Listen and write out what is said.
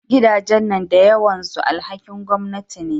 Gidajen nan da yawan su alhakin gwamanati ne